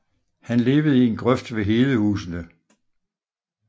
Han levede i en grøft ved Hedehusene